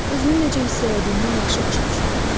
Özünü necə hiss elədiyini yaxşı başa düşürəm.